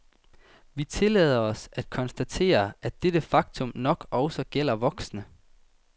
Vi tillader os at konstatere, at dette faktum nok også gælder voksne.